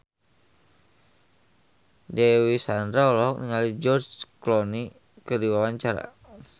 Dewi Sandra olohok ningali George Clooney keur diwawancara